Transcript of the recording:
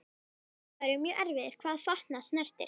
Sumir dagar eru mjög erfiðir hvað fatnað snertir.